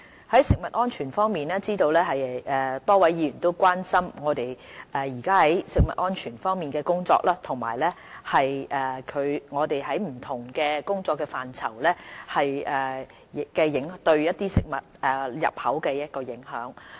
在食物安全方面，我知道多位議員都關心我們目前在食物安全的工作，以及在不同工作範疇對食物入口的影響。